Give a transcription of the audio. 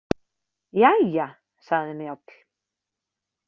Jæja, sagði Njáll.